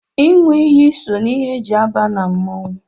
ịṅụ iyi so na ihe e ji aba na mmọnwụ